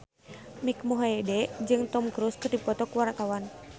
Mike Mohede jeung Tom Cruise keur dipoto ku wartawan